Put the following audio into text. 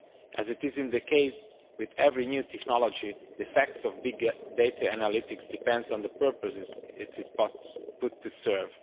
As is the case with every new technology, the effects of big data analytics depends on the purpose it is put to serve.